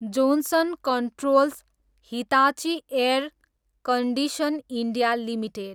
Johnson controls, Hitachi air conditioning India limited